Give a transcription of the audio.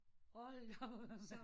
Hold da op